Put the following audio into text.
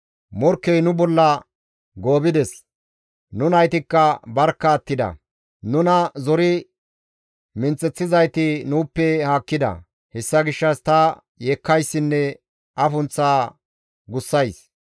«Morkkey nu bolla goobides; nu naytikka barkka attida; nuna zori minththeththizayti nuuppe haakkida; hessa gishshas ta yeekkayssinne afunththa gussays.